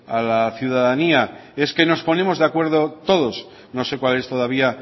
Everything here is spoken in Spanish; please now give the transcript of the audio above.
a la ciudadanía es que nos ponemos de acuerdo todos no sé cual es todavía